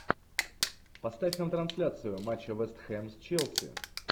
поставь нам трансляцию матча вест хэм с челси